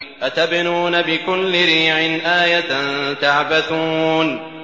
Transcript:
أَتَبْنُونَ بِكُلِّ رِيعٍ آيَةً تَعْبَثُونَ